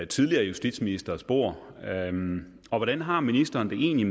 tidligere justitsministre bord hvordan har ministeren det egentlig